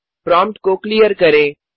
prompt को clear करें